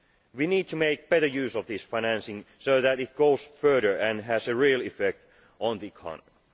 We need to make better use of this financing so that it goes further and has a real effect on the economy.